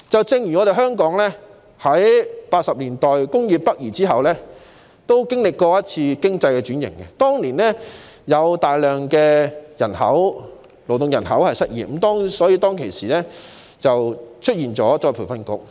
正如香港亦在1980年代工業北移後經歷經濟轉型，當年有大量勞動人口失業，因此政府成立僱員再培訓局。